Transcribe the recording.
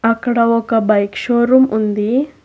అక్కడ ఒక bike showroom ఉంది.